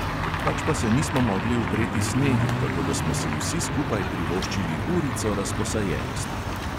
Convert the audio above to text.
Pač pa se nismo mogli upreti snegu, tako da smo si vsi skupaj privoščili urico razposajenosti.